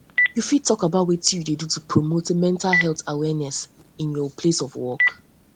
you fit talk about wetin you do to promote mental health awareness in health awareness in your place of work